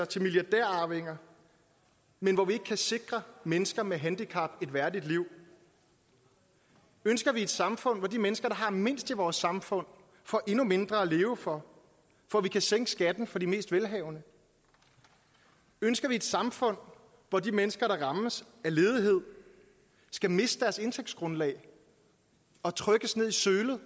til milliardærarvinger men hvor vi ikke kan sikre mennesker med handicap et værdigt liv ønsker vi et samfund hvor de mennesker der har mindst i vores samfund får endnu mindre at leve for for at vi kan sænke skatten for de mest velhavende ønsker vi et samfund hvor de mennesker der rammes af ledighed skal miste deres indtægtsgrundlag og trykkes ned i sølet